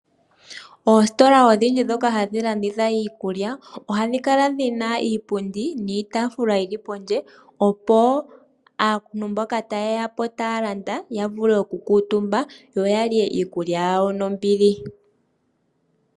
Oositola odhindji ndhoka hadhi landitha iikulya ohadhi kala dhina iipundi niitafula yili pondje opo aantu mboka taye ya okulanda ya vule okukala omutumba yoyalye iikulya yawo nombili.